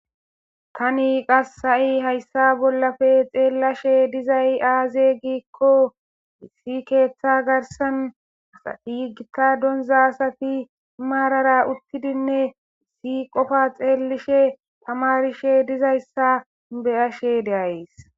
tani qasi ha'i hayssa bollafe xeellashe de'izay aaze giikko issi keeththa garsan asati gita donza asati maarara uttidinne issi qofa xeellishe tamarishe de'izayssa beyashe de'ayis